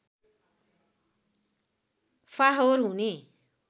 फाहोर हुने